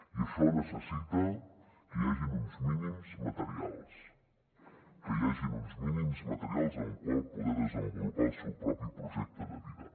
i això necessita que hi hagin uns mínims materials que hi hagin uns mínims materials amb els quals poder desenvolupar el seu propi projecte de vida